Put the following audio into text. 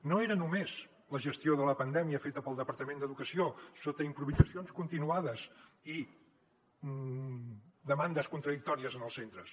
no era només la gestió de la pandèmia feta pel departament d’educació sota improvisacions continuades i demandes contradictòries als centres